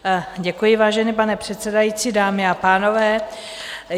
Děkuji, vážený pane předsedající, dámy a pánové.